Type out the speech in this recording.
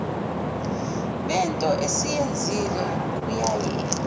bento esiyenzile kuyaye